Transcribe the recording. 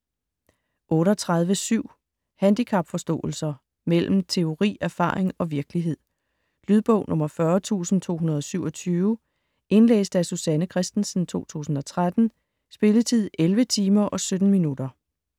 38.7 Handicapforståelser: mellem teori, erfaring og virkelighed Lydbog 40227 Indlæst af Susanne Kristensen, 2013. Spilletid: 11 timer, 17 minutter.